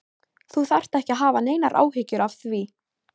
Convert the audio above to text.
Þú þarft ekki að hafa neinar áhyggjur af því.